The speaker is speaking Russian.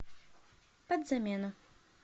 подзамену